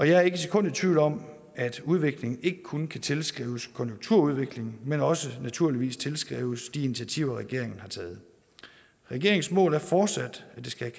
jeg er ikke et sekund i tvivl om at udviklingen ikke kun kan tilskrives konjunkturudviklingen men også naturligvis tilskrives de initiativer regeringen har taget regeringens mål er fortsat at det skal